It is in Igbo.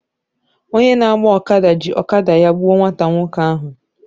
Onye na-agba ọkada ji ọkada ya gbuo nwata nwoke ahụ.